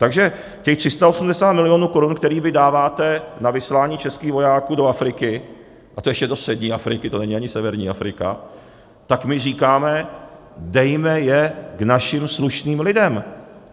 Takže těch 380 milionů korun, které vy dáváte na vyslání českých vojáků do Afriky, a to ještě do střední Afriky, to není ani severní Afrika, tak my říkáme, dejme je našim slušným lidem!